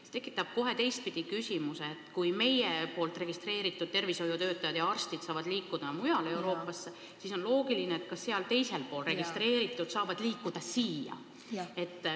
See tekitab kohe teistpidi küsimuse, et kui meil registreeritud tervishoiutöötajad saavad liikuda mujale Euroopasse, siis on loogiline, et mujal registreeritud saavad liikuda siia.